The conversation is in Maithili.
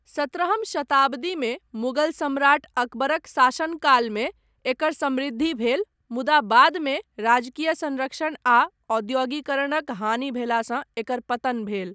सत्रहम शताब्दीमे मुगल सम्राट अकबरक शासनकालमे एकर समृद्धि भेल, मुदा बादमे राजकीय संरक्षण आ औद्योगीकरणक हानि भेलासँ एकर पतन भेल।